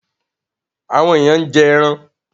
Àwọn èèyàn ń jẹ ẹran.